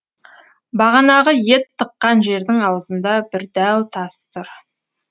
бағанағы ет тыққан жердің аузында бір дәу тас тұр